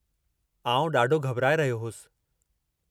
आउं ॾाढो घबराए रहियो होसि।